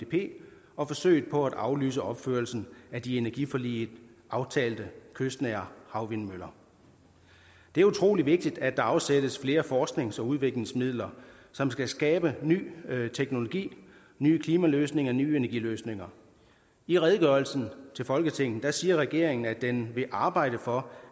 og forsøget på at aflyse opførelsen af de i energiforliget aftalte kystnære havvindmøller det er utrolig vigtigt at der afsættes flere forsknings og udviklingsmidler som skal skabe ny teknologi nye klimaløsninger og nye energiløsninger i redegørelsen til folketinget siger regeringen at den vil arbejde for